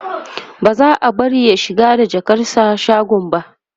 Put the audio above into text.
ba za'a bari ya shiga da jakarsa shagon ba